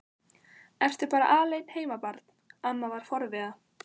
Ertu bara alein heima barn? amma var forviða.